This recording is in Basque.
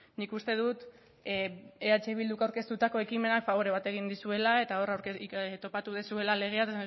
nik uste dut eh bilduk aurkeztutako ekimenak fabore bat egin dizuela eta hor topatu duzuela legea